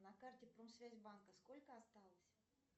на карте промсвязьбанка сколько осталось